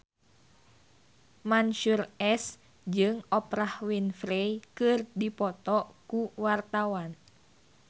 Mansyur S jeung Oprah Winfrey keur dipoto ku wartawan